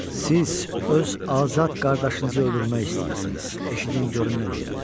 Siz öz azad qardaşınızı öldürmək istəyirsiniz, eşidin görün nə deyirəm.